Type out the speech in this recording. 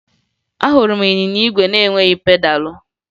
Ahụrụ m ịnyịnya igwe na-enweghi pedalụ